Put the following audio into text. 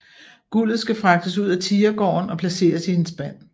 Guldet skal fragtes ud af tigergården og placeres i en spand